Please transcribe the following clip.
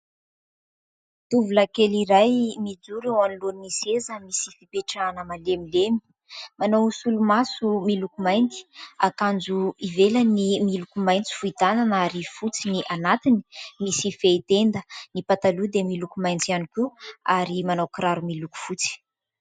Tovolahy kely iray mijoro eo anoloan'ny seza misy fipetrahana malemilemy. Manao solomaso miloko mainty, akanjo ivelany miloko maintso fohy tanana ary fotsy ny anatiny, misy fehin-tenda. Ny pataloha dia miloko maintso ihany koa ary manao kiraro miloko fotsy.